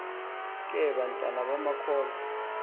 ke abantwana bamakholwa